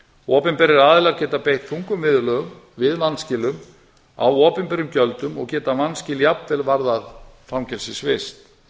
opinberir aðilar geta beitt þungum viðurlögum við vanskilum á opinberum gjöldum og geta vanskil jafnvel varðað fangelsisvist